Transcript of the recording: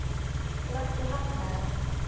Láttu hafna þér.